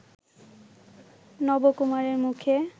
নবকুমারের মুখে